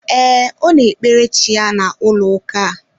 Ee, Ọ na ekpere chi ya na ụlọ ụka a